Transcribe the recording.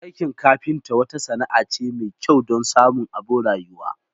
Aikin kafinta wata sana'a ce mai kyau don samun abin rayuwa.